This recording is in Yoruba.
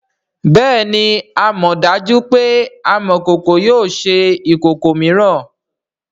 bẹẹni amọdaju pe amokoko yio ṣe ikoko miiran.